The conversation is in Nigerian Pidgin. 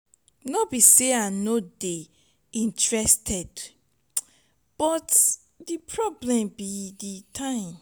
no be say i no dey interested but the problem be the time.